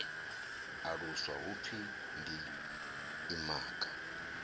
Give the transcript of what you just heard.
aluswa hu pfi ndi imaga